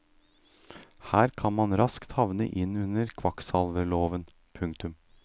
Her kan man raskt havne inn under kvakksalverloven. punktum